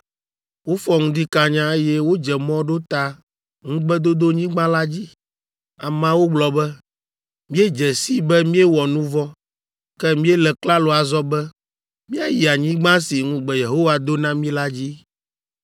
Wofɔ ŋdi kanya, eye wodze mɔ ɖo ta Ŋugbedodonyigba la dzi. Ameawo gblɔ be, “Míedze sii be míewɔ nu vɔ̃, ke míele klalo azɔ be, míayi anyigba si ŋugbe Yehowa do na mí la dzi!”